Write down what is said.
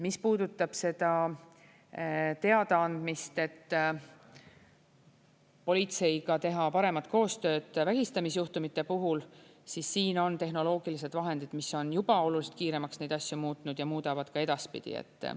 Mis puudutab seda teadaandmist, et politseiga teha paremat koostööd vägistamisjuhtumite puhul, siis siin on tehnoloogilised vahendid, mis on juba oluliselt kiiremaks neid asju muutnud ja muudavad ka edaspidi.